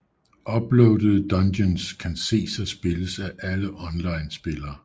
Uploadede dungeons kan ses og spilles af alle online spillere